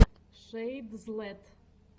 шэйдзлэт